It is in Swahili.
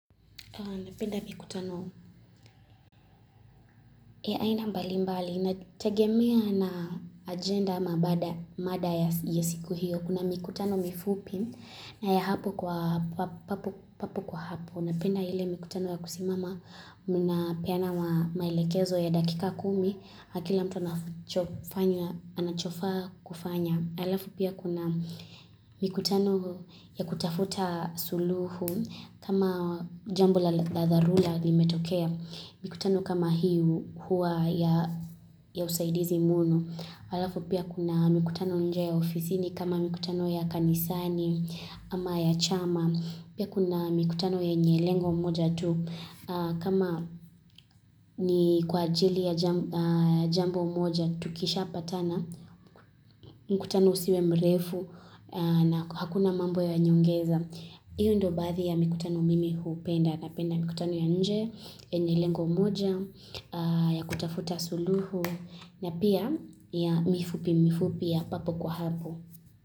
Napenda mikutano, ya aina mbali mbali, inategemea na agenda ama mada ya siku hiyo. Kuna mikutano mifupi na ya hapo kwa hapo. Napenda ile mikutano ya kusimama, mnapeana maelekezo ya dakika kumi, na kila mtu anafanya anachofaa kufanya. Halafu pia kuna mikutano ya kutafuta suluhu kama jambo la dharura limetokea. Mikutano kama hii huwa ya usaidizi mno. Halafu pia kuna mikutano nje ya ofisini kama mikutano ya kanisani ama ya chama. Pia kuna mikutano yenye lengo moja tu, kama ni kwa ajili ya jambo moja, tukishapatana, mkutano usiwe mrefu na hakuna mambo ya nyongeza. Hiyo ndiyo baadhi ya mikutano mimi hupenda. Napenda mikutano ya nje, yenye lengo moja, ya kutafuta suluhu, na pia mifupi mifupi ya papo kwa hapo.